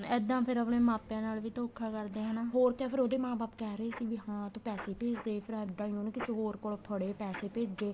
ਇੱਦਾਂ ਫੇਰ ਆਪਣੇ ਮਾਪਿਆਂ ਨਾਲ ਵੀ ਧੋਖਾ ਕਰਦੇ ਏ ਹਨਾ ਹੋਰ ਕਿਆ ਫੇਰ ਉਹਦੇ ਮਾਂ ਬਾਪ ਕਹਿ ਰਹੇ ਸੀ ਵੀ ਤੂੰ ਪੈਸੇ ਭੇਜ ਦੇ ਤੇ ਫੇਰ ਇੱਦਾਂ ਈ ਉਹਨੇ ਕਿਸੇ ਹੋਰ ਕੋਲੋ ਫੜੇ ਪੈਸੇ ਭੇਜੇ